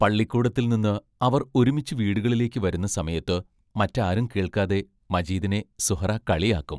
പള്ളിക്കൂടത്തിൽ നിന്ന് അവർ ഒരുമിച്ചു വീടുകളിലേക്ക് വരുന്ന സമയത്ത് മറ്റാരും കേൾക്കാതെ മജീദിനെ സുഹ്റാ കളിയാക്കും.